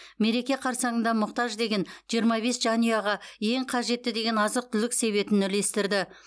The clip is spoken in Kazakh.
мереке қарсаңында мұқтаж деген жиырма бес жанұяға ең қажетті деген азық түлік себетін үлестірді